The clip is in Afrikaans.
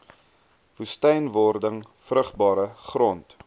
woestynwording vrugbare grond